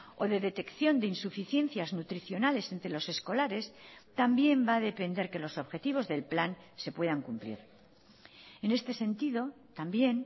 o de detección de insuficiencias nutricionales entre los escolares también va a depender que los objetivos del plan se puedan cumplir en este sentido también